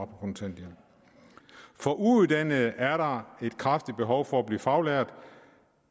kontanthjælp for uuddannede er der et kraftigt behov for at blive faglært